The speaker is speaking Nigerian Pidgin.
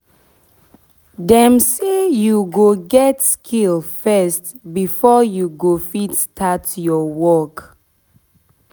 dem say u go get skill first before u go fit start ur work